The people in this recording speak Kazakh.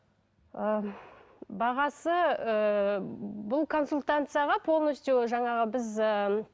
ы бағасы ыыы бұл консультацияға полностью жаңағы біз ыыы